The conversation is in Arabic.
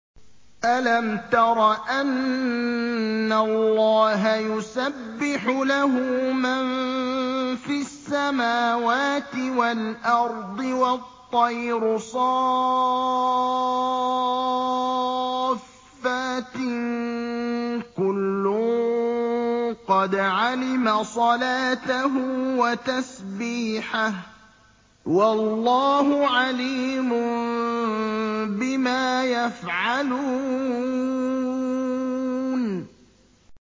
أَلَمْ تَرَ أَنَّ اللَّهَ يُسَبِّحُ لَهُ مَن فِي السَّمَاوَاتِ وَالْأَرْضِ وَالطَّيْرُ صَافَّاتٍ ۖ كُلٌّ قَدْ عَلِمَ صَلَاتَهُ وَتَسْبِيحَهُ ۗ وَاللَّهُ عَلِيمٌ بِمَا يَفْعَلُونَ